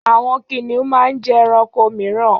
Àwọn kìnnìún máa ń jẹ ẹranko mìíràn.